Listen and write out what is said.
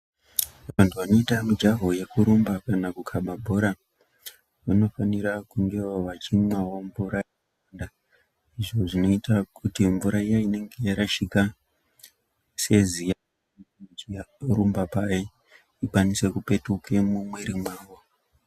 Vandu vanoita mujaho wekurumba kana kukaba bhora vanofanira kungewo vachimwawo mvura yakawanda izvi zvoitirwa kuti mvura iya inenge yarasika seziya vachirumba paya ikwanise kupetuke mumiri mwavo